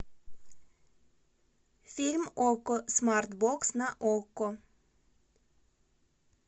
фильм окко смарт бокс на окко